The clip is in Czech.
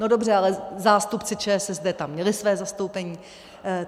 No dobře, ale zástupci ČSSD tam měli své zastoupení.